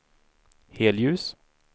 helljus